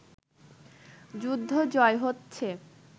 যুদ্ধ জয় হচ্ছে